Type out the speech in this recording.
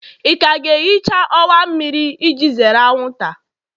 ị ka ga-ehicha ọwa mmiri iji zere anwụnta?